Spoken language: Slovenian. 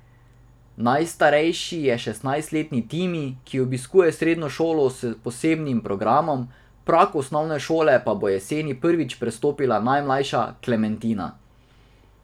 Najstarejši je šestnajstletni Timi, ki obiskuje srednjo šolo s posebnim programom, prag osnovne šole pa bo jeseni prvič prestopila najmlajša, Klementina.